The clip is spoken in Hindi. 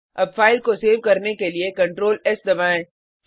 अब फाइल को सेव करने के लिए Ctrl एस दबाएँ